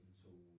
Mhm